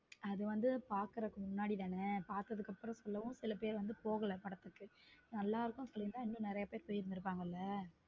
அது வந்து பாக்குறதுக்கு முன்னாடி தானே பார்த்ததுக்கு அப்புறம் சொல்லவும் சில பேர் போகல படத்துக்கு நல்லா இருக்கும் சொல்லிருந்தா இன்னும் நிறைய பேரு போயிருந்திருப்பாங்கல.